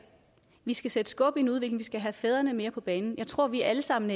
vi skal sætte skub i en udvikling vi skal have fædrene mere på banen jeg tror at vi alle sammen